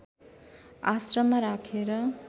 आश्रममा राखेर